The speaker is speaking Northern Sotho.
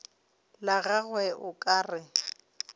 la gagwe o ka re